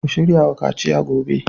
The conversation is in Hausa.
Ku shirya wa kaciya gobe